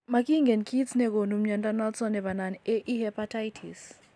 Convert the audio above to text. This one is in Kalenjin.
Mokingen kiit negonu mnyondo noton nebo non A E hepatitis